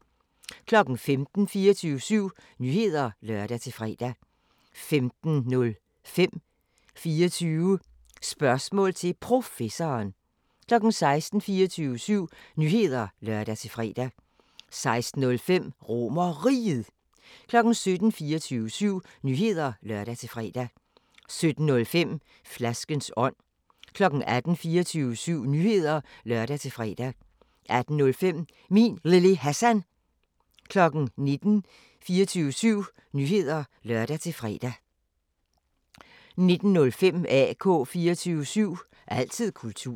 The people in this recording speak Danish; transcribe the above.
15:00: 24syv Nyheder (lør-fre) 15:05: 24 Spørgsmål til Professoren 16:00: 24syv Nyheder (lør-fre) 16:05: RomerRiget 17:00: 24syv Nyheder (lør-fre) 17:05: Flaskens ånd 18:00: 24syv Nyheder (lør-fre) 18:05: Min Lille Hassan 19:00: 24syv Nyheder (lør-fre) 19:05: AK 24syv – altid kultur